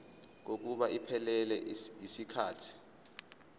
kokuba iphelele yisikhathi